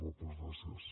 moltes gràcies